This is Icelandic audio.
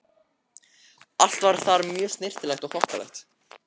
Allt var þar mjög snyrtilegt og þokkalegt.